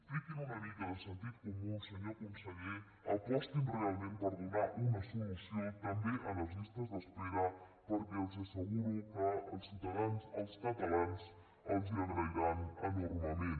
tinguin una mica de sentit comú senyor conseller apostin realment per donar una solució també a les llistes d’espera perquè els asseguro que els ciutadans els catalans els ho agrairan enormement